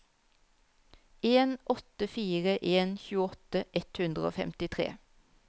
en åtte fire en tjueåtte ett hundre og femtitre